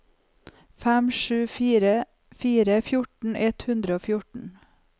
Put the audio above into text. fem sju fire fire fjorten ett hundre og fjorten